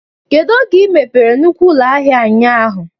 Kedu oge ị mepere nnukwu ụlọ ahịa ụnyaahụ?